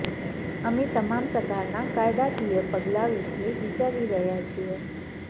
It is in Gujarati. અમે તમામ પ્રકારના કાયદાકીય પગલાં વિશે વિચારી રહ્યા છીએ